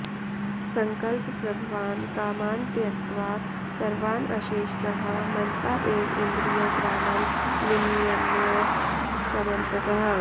सङ्कल्पप्रभवान् कामान् त्यक्त्वा सर्वान् अशेषतः मनसा एव इन्द्रियग्रामं विनियम्य समन्ततः